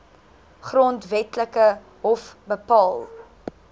grondwetlike hof bepaal